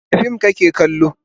Wane fim kake kallo?